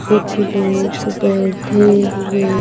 कुछ लोग बैठे हुए।